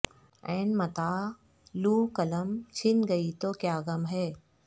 ع متاح لوح قلم چھن گئی تو کیا غم ہے